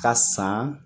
Ka san